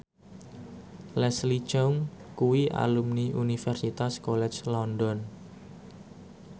Leslie Cheung kuwi alumni Universitas College London